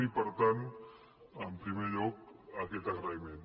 i per tant en primer lloc aquest agraïment